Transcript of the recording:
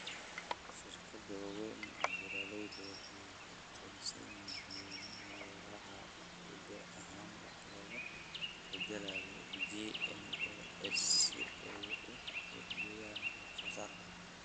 Shirkadaha waaweyn ee beeralaydu waxay ku tiirsan yihiin noolaha hidde ahaan wax laga beddelay (GMOs) si ay u kordhiyaan wax soo saarka.